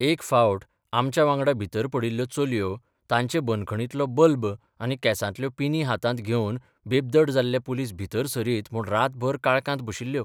एक फावट आमच्या बांगडा भितर पडिल्ल्यो चलयो तांचे बंदखणींतलो बल्ब आनी केसांतल्यो पिनी हातांत घेवन बेब्दड जाल्ले पुलीस भितर सरीत म्हूण रातभर काळकांत बशिल्ल्यो...